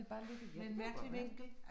Det bare lidt, ja, det kan godt være